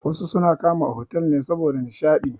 Wasu suna kama otal ne saboda nishaɗi.